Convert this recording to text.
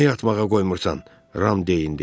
Niyə yatmağa qoymursan Ram deyindi.